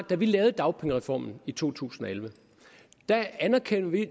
da vi lavede dagpengereformen i to tusind og elleve anerkendte vi